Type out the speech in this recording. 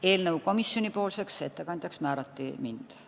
Eelnõu komisjonipoolseks ettekandjaks määrati mind.